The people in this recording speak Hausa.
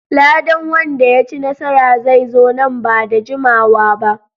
Ladan wanda ya ci nasara zai zo nan ba da jimawa ba.